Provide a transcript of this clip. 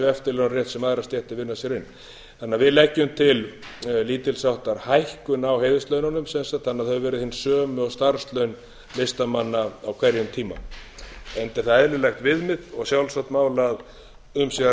eftirlaunarétt sem aðrar stéttir vinna sér inn þannig að við leggjum til lítils háttar hækkun á heiðurslaununum sem sagt þannig að þau verði hin sömu og starfslaun listamanna á hverjum tíma enda er það eðlilegt viðmið og sjálfsagt mál að um sé að